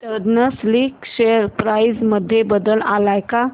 eastern Silk share price मध्ये बदल आलाय का